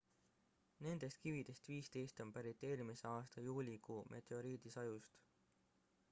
nendest kividest 15 on pärit eelmise aasta juulikuu meteoriidisajust